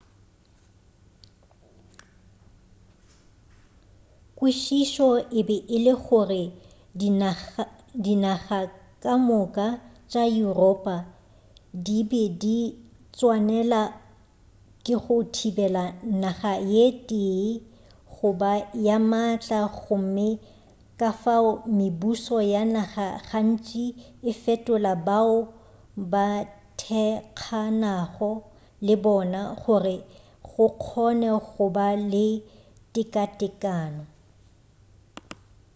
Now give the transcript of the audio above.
kwešišo e be e le gore dinaga ka moka tša yuropa di be di tswanela ke go thibela naga ye tee go ba ye maatla gomme kafao mebušo ya naga gantši e fetola bao ba thekganago lebona gore go kgone goba le teka-tekano